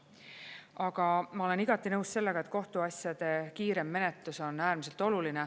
Aga ma olen igati nõus sellega, et kohtuasjade kiirem menetlus on äärmiselt oluline.